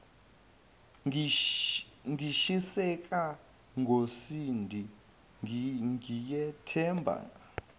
ngishiseka ngosindi ngiyethemba